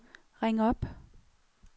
ring op